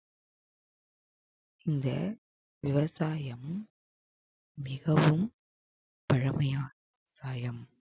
இந்த விவசாயம் மிகவும் பழமையான ~சாயம்